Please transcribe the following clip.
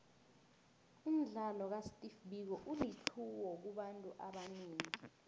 umdlalo ka steve biko ulitlhuwo kubantu abanengi